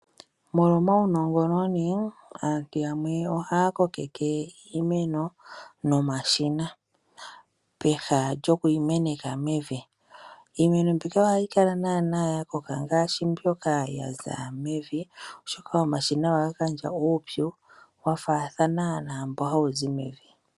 Molwa omaunongononi aantu yamwe ohaya kokeke iimeno nomashina peha lyokuyi meneka mevi. Iimeno mbika ohayi kala yakoka ngaashi mbyoka yaza mevi oshoka omashina ohaga gandja uupyu wafaathana naambo hawu zi mevi.